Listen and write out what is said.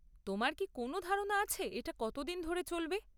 তোমার কি কোনও ধারণা আছে এটা কতদিন ধরে চলবে?